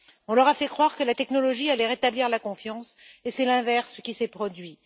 On leur a fait croire que la technologie allait rétablir la confiance et c'est l'inverse qui s'est produit.